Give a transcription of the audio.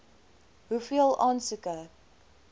hoeveel aansoeke